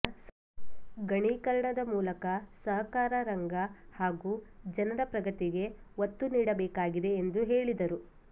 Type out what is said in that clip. ಗಣಕೀಕರಣದ ಮೂಲಕ ಸಹಕಾರ ರಂಗ ಹಾಗೂ ಜನರ ಪ್ರಗತಿಗೆ ಒತ್ತು ನೀಡಬೇಕಾಗಿದೆ ಎಂದು ಹೇಳಿದರು